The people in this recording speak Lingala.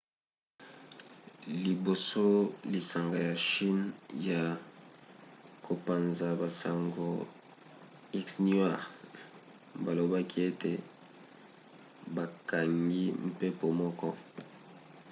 liboso lisanga ya chine ya kopanza-basango xinhua balobaki ete bakangi mpepo moko